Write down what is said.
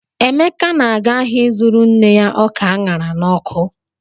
Emeka na-aga ahịa ịzụrụ nne ya ọka a ṅara n'ọkụ.